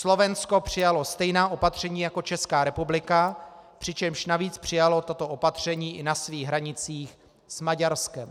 Slovensko přijalo stejná opatření jako Česká republika, přičemž navíc přijalo toto opatření i na svých hranicích s Maďarskem.